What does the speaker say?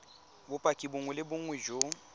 bopaki bongwe le bongwe jo